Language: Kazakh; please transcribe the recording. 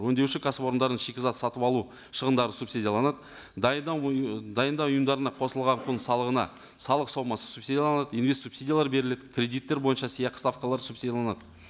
өңдеуші кәсіпорындардың шикізат сатып алу шығындары субсидияланады дайындау дайындау ұйымдарына қосылған құн салығына салық сомасы субсидияланады инвест субсидиялар беріледі кредиттер бойынша сыйақы ставкалар субсидияланады